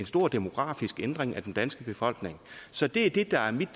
stor demografisk ændring af den danske befolkning så det er det der er mit